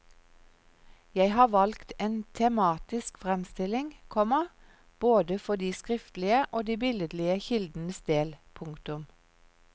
Jeg har valgt en tematisk fremstilling, komma både for de skriftlige og de billedlige kildenes del. punktum